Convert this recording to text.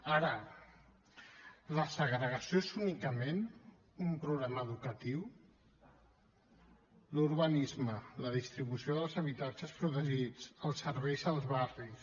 ara la segregació és únicament un problema educatiu l’urbanisme la distribució dels habitatges protegits els serveis als barris